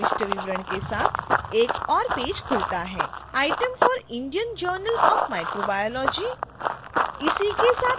journal के प्रविष्ट विवरण के साथ एक और पेज खुलता है: